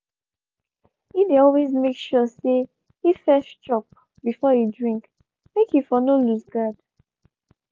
he dey always make sure say he first chop before he drink make he for no loose guard